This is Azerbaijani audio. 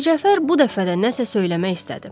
Mircəfər bu dəfə də nəsə söyləmək istədi.